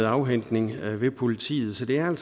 afhentning ved politiet så det her